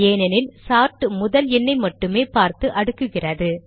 ஏனெனில் சார்ட் முதல் எண்ணை மட்டுமே பார்த்து அடுக்குகிறது